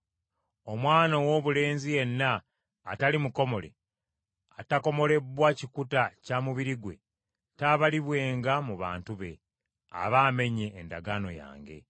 Omwana owoobulenzi yenna atali mukomole, atakomolebbwa kikuta kya mubiri gwe, taabalibwenga mu bantu be, aba amenye endagaano yange.”